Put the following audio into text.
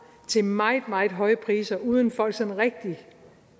til meget meget høje priser uden at folk sådan rigtigt